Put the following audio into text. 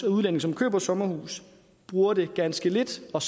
udlændinge som køber sommerhus bruger det ganske lidt og